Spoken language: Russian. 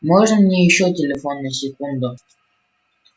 можно мне ещё телефон на секунду